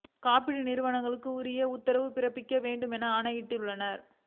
காப்பீடு நிறுவனங்களுக்கு உரிய உத்தரவுகளை பிறப்பிக்க வேண்டும் எனவும் ஆணையிட்டுள்ளது